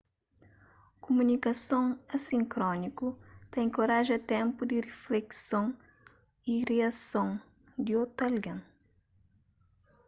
kuminikason asínkroniku ta enkoraja ténpu di riflekson y riason di otu algen